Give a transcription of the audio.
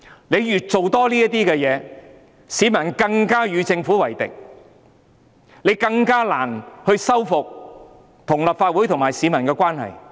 這些事情做得越多，市民便更加與政府為敵，政府亦更難修復與立法會和市民的關係。